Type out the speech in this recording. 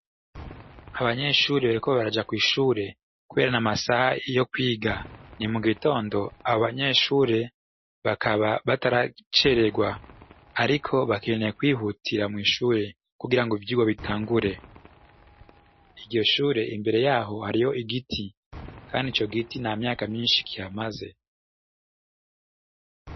Abanyeshure bariko baraja kwishure kubera n'amasaha yo kwiga ni mugitondo abo banyeshure bakaba bataraceregwa ariko bakeneye kwihutira mwishure kugirango ivyigwa bitangure, iryo shure imbere yaho hariho igiti kandi ico giti ntamyaka myinshi kihamaze.